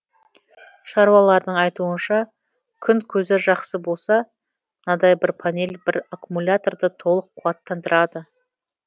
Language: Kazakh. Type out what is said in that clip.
шаруалардың айтуынша күн көзі жақсы болса мынадай бір панель бір аккумуляторды толық қуаттандырады